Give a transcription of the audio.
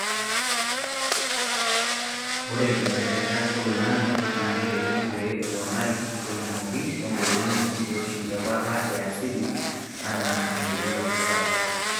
Ore nkibelekenyat oloingange naa keitekini pee eponari tenkumoki wengolon wenkiroshi ebata yaasili enaa enkirowuaj sapuk.